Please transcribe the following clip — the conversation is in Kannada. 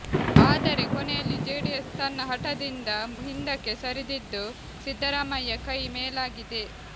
ಆದರೆ ಕೊನೆಯಲ್ಲಿ ಜೆಡಿಎಸ್ ತನ್ನ ಹಠದಿಂದ ಹಿಂದಕ್ಕೆ ಸರಿದಿದ್ದು ಸಿದ್ದರಾಮಯ್ಯ ಕೈ ಮೇಲಾಗಿದೆ